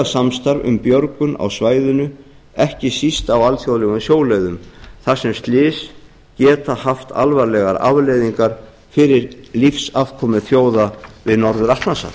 samstarf um björgun á svæðinu ekki síst á alþjóðlegum sjóleiðum þar sem slys geta haft alvarlegar afleiðingar fyrir lífsafkomu þjóða við norður atlantshaf